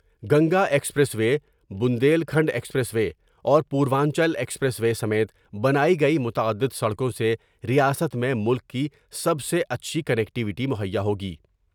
Ganga expressway, Bundelkhand expressway اور Purvanchal expressway سمیت بنائی گئی متعد دسڑکوں سے ریاست میں ملک کی سب سے اچھی کنکٹیوٹی مہیا ہوگی ۔